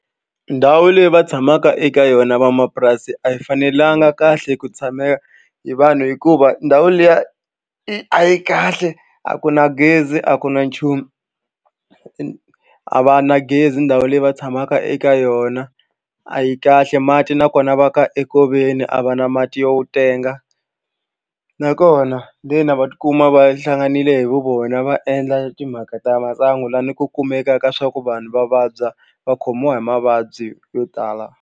Ndhawu leyi va tshamaka eka yona vamapurasi a yi fanelanga kahle ku tshamela hi vanhu hikuva ndhawu liya i a yi kahle a ku na gezi a ku na nchumu a va na gezi ndhawu leyi va tshamaka eka yona a yi kahle mati nakona va ka enkoveni a va na mati yo tenga nakona lena va tikuma va hlanganile hi vu vona va endla timhaka ta masangu lani ku kumeka ka swa ku vanhu va vabya va khomiwa hi mavabyi yo tala.